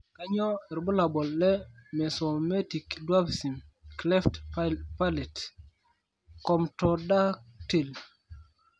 kanyioo irbulabol le Mesometic dwarfism cleft palate comptodactyly?.